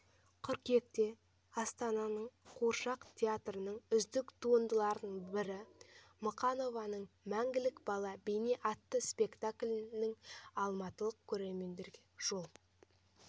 қыркүйекте астананың қуыршақ театрының үздік туындыларының бірі мұқанованың мәңгілік бала бейне атты спектаклі алматылық көрерменге жол